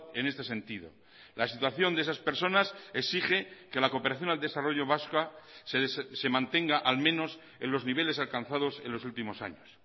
en este sentido la situación de esas personas exige que la cooperación al desarrollo vasca se mantenga al menos en los niveles alcanzados en los últimos años